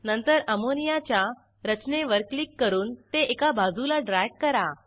नंतर अमोनियाच्या रचने वर क्लिक करून ते एका बाजूला ड्रॅग करा